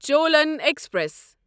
Cholan express